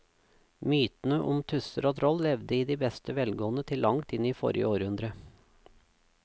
Mytene om tusser og troll levde i beste velgående til langt inn i forrige århundre.